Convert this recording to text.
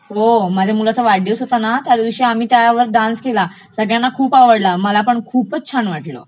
हो , माझ्या मुलाचा वाढदिवस होता ना, त्यादिवशी आम्ही त्यावर डान्स केला, सगळ्यांना खूपचं आवडला. मला पण खूपचं छान वाटलं,